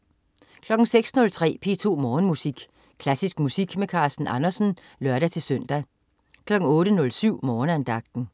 06.03 P2 Morgenmusik. Klassisk musik med Carsten Andersen (lør-søn) 08.07 Morgenandagten